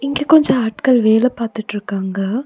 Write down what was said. இங்க கொஞ்ச ஆட்கள் வேல பாத்துட்ருக்காங்க.